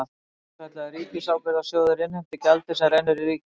Svokallaður ríkisábyrgðasjóður innheimtir gjaldið sem rennur í ríkissjóð.